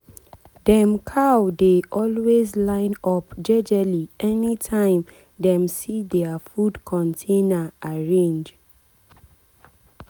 dem cow dey always line up jejely anytime dem see dia food container arrange.